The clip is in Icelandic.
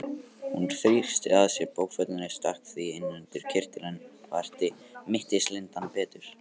Hún þrýsti að sér bókfellinu, stakk því inn undir kyrtilinn og herti mittislindann betur.